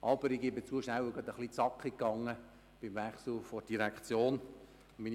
Aber ich gebe zu, dass es durch den Wechsel in der Direktion ein bisschen schnell gegangen ist.